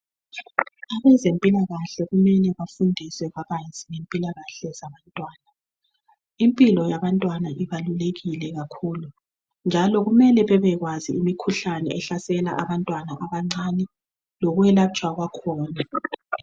Abezempilakahle kumele bafundise kabanzi ngempilakahle zabantwana. Impilo yabantwana ibalulekile kakhulu njalo kumele babekwazi imikhuhlane ehlasela abantwana abancane lokwelatshwa kwakhona